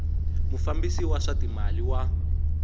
mufambisi wa swa timali wa